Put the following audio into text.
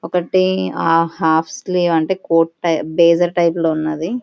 ఒకటి half sleeves ఏంటే coat type బ్రెసెస్ టైపు లో ఉన్నది.